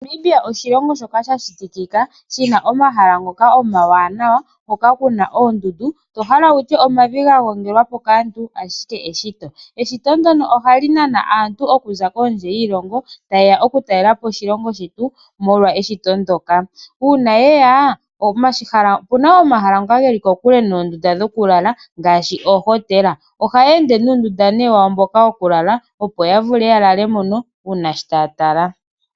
Namibia oshilongo shoka shashitikika shina omahala ngoka omawanawa hoka kuna oondundu tohala wutye omavi gagongelwa po kaantu ashike eshito. Eshito ndyono ohali nana aantu okuza kondje yiilongo taye ya okutalela po oshilongo shetu molwa eshito ndyoka. Uuna yeya opuna omahala ngoka geli kokule noondunda dhokulala ngaashi oohotela, ohayeende nuundunda nee wawo mboka wokulala opo yavule yalale mono uuna sho taya tala.